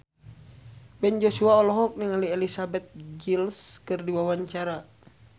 Ben Joshua olohok ningali Elizabeth Gillies keur diwawancara